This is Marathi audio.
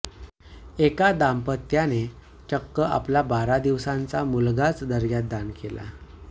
एका दांपत्याने चक्क आपला बारा दिवसांचा मुलगाच दर्ग्यात दान केला